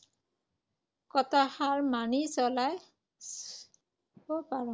কথাষাৰ মানি চলাই উম পাৰা।